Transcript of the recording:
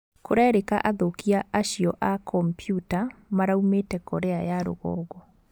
Kũrerĩka athũkia acio a kompiuta maraumĩte Korea ya rũgongo.